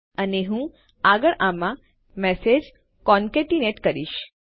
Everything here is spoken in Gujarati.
અને હું આગળ આમાં મેસેજ કોનકેટીનેટ કરીશ